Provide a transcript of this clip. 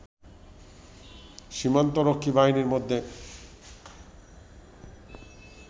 সীমান্ত রক্ষী বাহিনীর মধ্যে